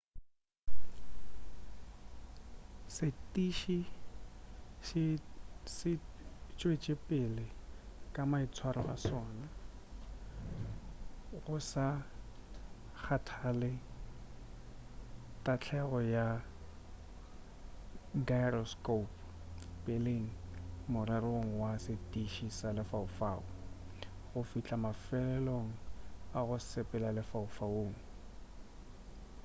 setiši se tšwetšepele ka maitswaro a sona go sa kgathale tahlegelo ya gyroscopo peleng morerong wa setiši sa lefaufau go fihla mafelelong a go sepela lefaufaung